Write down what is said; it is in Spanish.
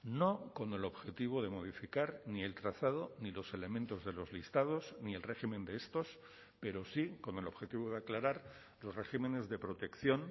no con el objetivo de modificar ni el trazado ni los elementos de los listados ni el régimen de estos pero sí con el objetivo de aclarar los regímenes de protección